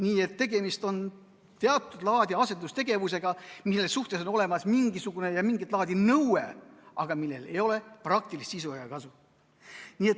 Nii et tegemist on teatud laadi asendustegevusega, mille kohta kehtib mingisugune, mingit laadi nõue, aga millel ei ole praktilist sisu ega kasu.